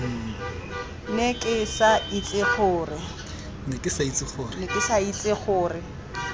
ne ke sa itse gore